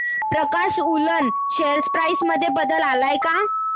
प्रकाश woollen share price मध्ये बदल आलाय का